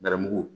Nɛrɛmugu